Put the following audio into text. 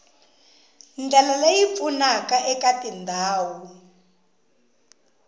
ndlela leyi pfunaka eka tindhawu